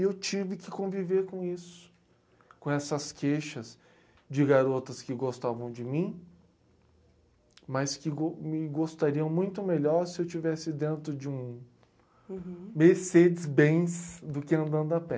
E eu tive que conviver com isso, com essas queixas de garotas que gostavam de mim, mas que go, me gostariam muito melhor se eu estivesse dentro de um Mercedes-Benz do que andando a pé.